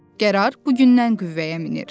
Qərar bugündən qüvvəyə minir.